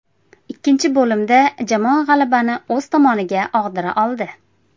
Ikkinchi bo‘limda jamoa g‘alabani o‘z tomoniga og‘dira oldi.